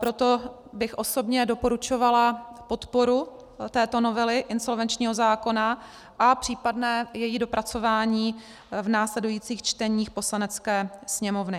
Proto bych osobně doporučovala podporu této novely insolvenčního zákona a případné její dopracování v následujících čteních Poslanecké sněmovny.